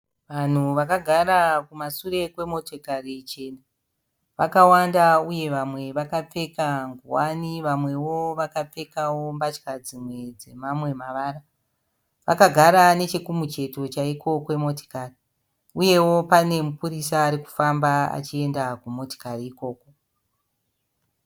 Vanhu vakagara kumasure kwemotikari chena. Vakawanda uye vamwe vakapfeka nguwani, vamwewo vakapfeka mbatya dzimwe dzemamwe mavara. Vakagara nechekumucheto chaiko kwemotikari uyewo pane mupurisa ari kufamba achienda kumotikari ikoko.